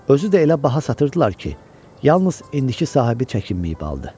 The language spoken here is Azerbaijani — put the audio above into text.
Özü də elə baha satırdılar ki, yalnız indiki sahibi çəkinməyib aldı.